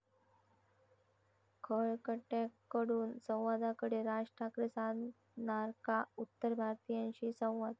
खळ खट्याक'कडून संवादाकडे, राज ठाकरे साधणार का उत्तर भारतीयांशी संवाद?